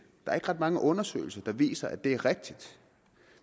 er ikke ret mange undersøgelser der viser at det er rigtigt